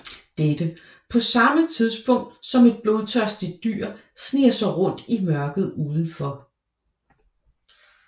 Dette på samme tid som et blodtørstigt dyr sniger sig rundt i mørket udenfor